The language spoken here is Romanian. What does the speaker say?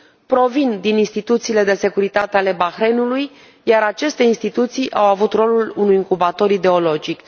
provin din instituțiile de securitate ale Bahrainului, iar aceste instituții au avut rolul unui incubator ideologic.